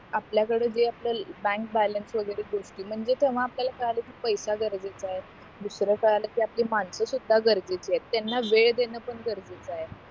आपल्या कडे जे आपले बँक बॅलन्स वगैरे गोष्टी म्हणजे तेव्हा आपल्याला कळलं कि पैसे गरजेचं आहे दुसर काय आला कि आपली माणसं सुद्धा गरजेची आहेत त्यांना वेळ देन पण गरजेचं आहे